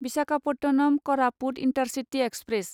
Visakhapatnam Koraput intercity express